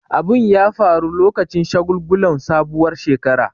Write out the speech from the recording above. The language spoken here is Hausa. Abun ya faru lokacin shagulgulan sabuwar shekara.